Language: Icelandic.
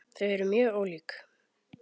Þau eru mjög ólík.